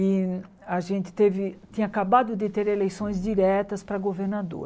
E a gente teve tinha acabado de ter eleições diretas para governador.